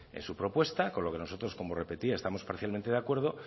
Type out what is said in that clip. en su propuesta con lo que nosotros como repetía estamos parcialmente de acuerdo